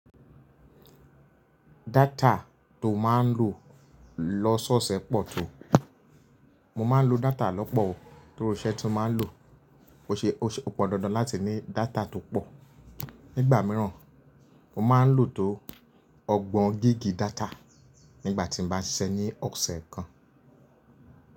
Data tó máa ń lò lọ́ṣọ́ ṣẹ pọ̀ tó. Mo máa ń lo data lọ́pọ̀ o torí iṣẹ́ tí mo máa ń lò. O ṣe, o pọn dandan láti ní data tó pọ̀. Nígbà míràn, mo máa ń lò tó ọgbọ̀n gigí data nígbà tí n bá ṣiṣẹ́ ní ọ̀ṣẹ̀ kan.